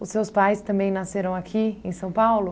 Os seus pais também nasceram aqui, em São Paulo?